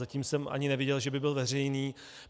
Zatím jsem ani neviděl, že by byl veřejný.